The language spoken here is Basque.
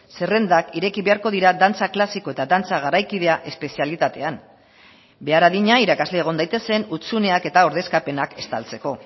zerrendak ireki beharko dira dantza klasiko eta dantza garaikidea espezialitatean behar adina irakasle egon daitezen hutsuneak eta ordezkapenak estaltzeko